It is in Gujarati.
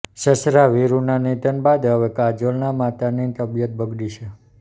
સસરા વીરૂના નિધન બાદ હવે કાજોલના માતાની તબિયન બગડી છે